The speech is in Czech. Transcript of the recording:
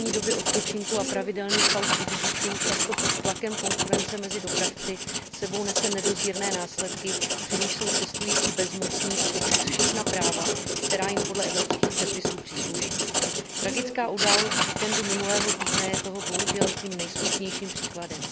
Pane předsedající, nedodržování minimální doby odpočinku a pravidelných pauz u řidičů, často pod tlakem konkurence mezi dopravci, sebou nese nedozírné následky, při nichž jsou cestující bezmocní, a to přes všechna práva, která jim podle evropských předpisů přísluší. Tragická událost z víkendu minulého týdne je toho bohužel tím nejsmutnějším příkladem.